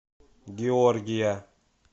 георгия